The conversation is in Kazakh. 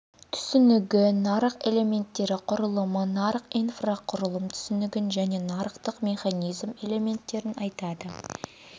түсінігі нарық элементтері құрылымы нарық инфрақұрылым түсінігін және нарықтық механизм элементтерін атайды